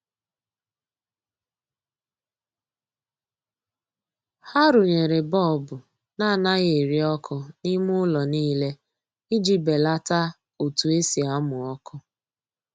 Ha runyere bọọbụ na anaghị eri ọkụ n'ime ụlọ niile iji belata otu esi amụ ọkụ.